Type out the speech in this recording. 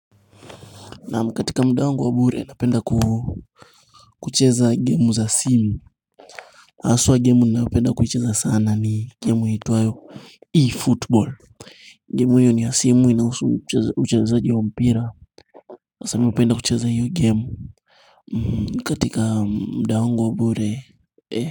Naam katika muda wangu wa bure napenda kucheza gemu za simu haswa gemu ninayopenda kuicheza sana ni gemu iitwayo E-Football Gemu hiyo ni ya simu inahusu uchezaji wa mpira na sasa mm hupenda kucheza hiyo gemu ni katika muda wangu wa bure.